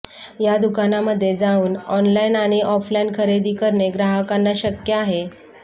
या दुकानामध्ये जाऊन ऑनलाईन आणि ऑफलाईन खरेद करणे ग्राहकांना शक्य आहे